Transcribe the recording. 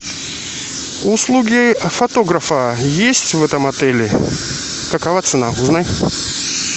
услуги фотографа есть в этом отеле какова цена узнай